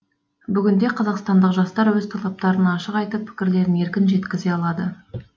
бүгінде қазақстандық жастар өз талаптарын ашық айтып пікірлерін еркін жеткізе алады